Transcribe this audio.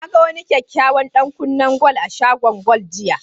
Na ga kyakkyawan ɗantukan gwal a shagon gwal ɗin, jiya.